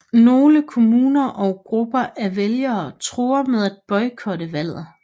Nogle kommuner og grupper af vælgere truede med at at boykotte valget